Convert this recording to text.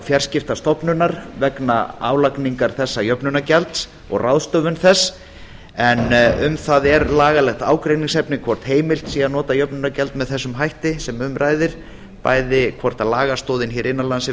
fjarskiptastofnunar vegna álagningar þessa jöfnunargjalds og ráðstöfun þess en um það er lagalegt ágreiningsefni hvort heimilt sé að nota jöfnunargjald með þessum hætti sem um ræðir bæði hvort lagastoðin hér innan lands er